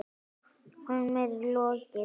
Honum er lokið!